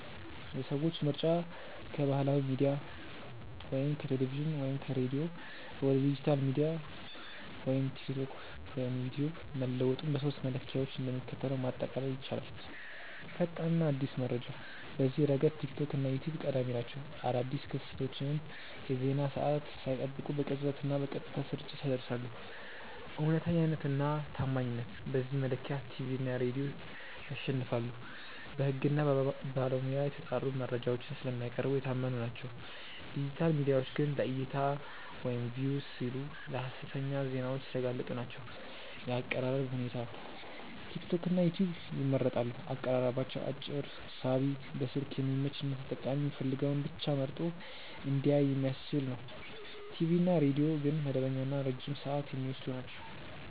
የሰዎች ምርጫ ከባህላዊ ሚዲያ (ቲቪ/ሬዲዮ) ወደ ዲጂታል ሚዲያ (ቲክቶክ/ዩትዩብ) መለወጡን በሦስቱ መለኪያዎች እንደሚከተለው ማጠቃለል ይቻላል፦ ፈጣንና አዲስ መረጃ፦ በዚህ ረገድ ቲክቶክ እና ዩትዩብ ቀዳሚ ናቸው። አዳዲስ ክስተቶችን የዜና ሰዓት ሳይጠብቁ በቅጽበትና በቀጥታ ስርጭት ያደርሳሉ። እውነተኛነትና ታማኝነት፦ በዚህ መለኪያ ቲቪ እና ሬዲዮ ያሸንፋሉ። በሕግና በባለሙያ የተጣሩ መረጃዎችን ስለሚያቀርቡ የታመኑ ናቸው፤ ዲጂታል ሚዲያዎች ግን ለዕይታ (Views) ሲሉ ለሀሰተኛ ዜናዎች የተጋለጡ ናቸው። የአቀራረብ ሁኔታ፦ ቲክቶክና ዩትዩብ ይመረጣሉ። አቀራረባቸው አጭር፣ ሳቢ፣ በስልክ የሚመች እና ተጠቃሚው የሚፈልገውን ብቻ መርጦ እንዲያይ የሚያስችል ነው። ቲቪ እና ሬዲዮ ግን መደበኛና ረጅም ሰዓት የሚወስዱ ናቸው።